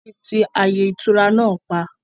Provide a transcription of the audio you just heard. Wọn tí ti ààyè ìtura náà pa